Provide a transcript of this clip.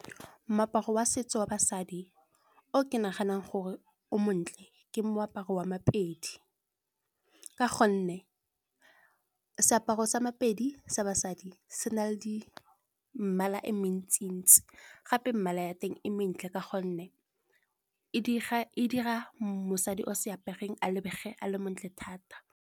Moaparo wa setso wa basadi o ke naganang gore o montle, ke moaparo wa maPedi. Ka gonne seaparo sa maPedi sa basadi sena le di mmala e mentsi-ntsi, gape mmala ya teng e mentle ka gonne e dira mosadi o se apereng a lebege a le mo ntle thata.